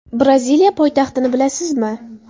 Braziliya poytaxtini bilasizmi?